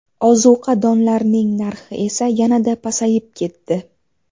Ozuqa donlarning narxi esa yanada pasayib ketdi.